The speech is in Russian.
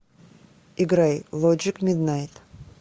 играй лоджик миднайт